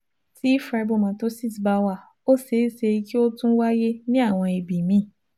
Tí fibromatosis bá wà, ó ṣeé ṣe kí ó tún wáyé ní àwọn ibi míì